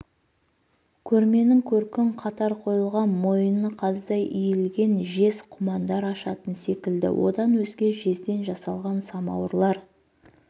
көрменің көркін қатар қойылған мойыны қаздай иілген жез құмандар ашатын секілді одан өзге жезден жасалған самауырлар